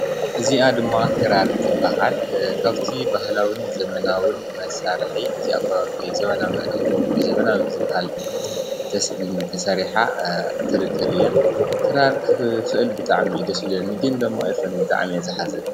እዚአ ድማ ክራር ትበሃል። ካብቲ ባህላዊን ዘመናዊን መሳርሒ እዚአ ኳ ብዛመናዊ ብዝበሃል ተሰሪሓ ትርከብ እያ። ክራር ክኽእል ብጣዕሚ እዩ ደስ ዝብለኒ። ግን ደግሞ አይኽእልን ብጣዕሚ እየ ዝሓዝን።